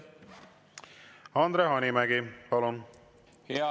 Andre Hanimägi, palun!